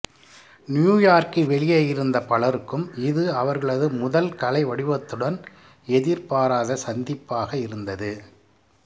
நியூயார்க்கிற்கு வெளியே இருந்த பலருக்கும் இது அவர்களது முதல் கலை வடிவத்துடன் எதிர்பாராத சந்திப்பாக இருந்தது